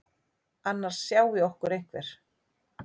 Annars sjái okkur einhver.